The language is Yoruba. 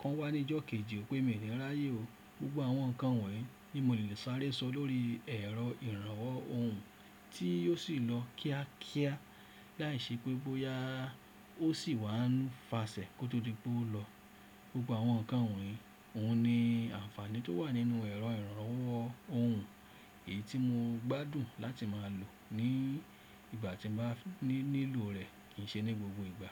kọ́n wá ní ìjọ kejì o pe mi ni ráyè o. Gbogbo àwọn nǹkan wọ̀nyí ni mo lè sáré sọ lórí ẹ̀rọ ìrànwọ́ ohùn tí yóò sì lọ kíákíá láì ṣe pé bóyá ó sì wá ń fàsẹ̀ kó tó di pé ó lọ. Gbogbo àwọn nǹkan wọ̀nyí òún ni àǹfààní tó wà nínú ẹ̀rọ ìrànlowọ́ ohùn èyí tí mo gbádùn láti máa lò ní ìgbà tí n ba ní nílò rẹ̀ kì í ṣe ní gbogbo ìgbà.